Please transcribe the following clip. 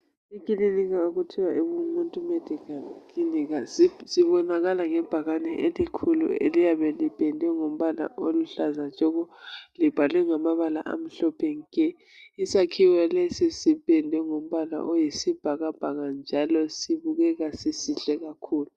Ikilinika okuthiwa Ubumuntu medical clinic sibonakala ngebhakane elikhulu elipedwe ngombala oluhlaza tshoko libhalwe ngamabala amhlophe nke isakhiwo lesi sipedwe ngombala oyisibhakabhaka njalo sibukeka sisihle kakhulu.